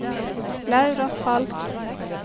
Laura Falch